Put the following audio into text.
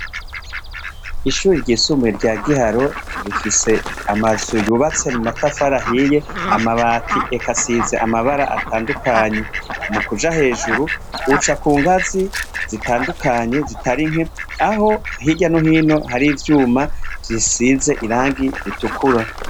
Ishure ryisumbuye rya Giharo rifise amazu yubatse mu matafari ahiye amabati eka asize amabara atandukanye mukuja hejuru uca kungazi zitandukanye zitari nke aho hirya no hino hari ivyuma bisize irangi ritukura.